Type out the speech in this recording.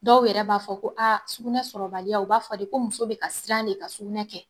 Dɔw yɛrɛ b'a fɔ ko aa sugunɛ sɔrɔbaliya u b'a fɔ de ko muso bɛ ka siran de ka sugunɛ kɛ